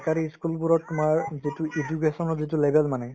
চৰকাৰী ই school বোৰত তোমাৰ যিটো education ৰ যিটো level মানে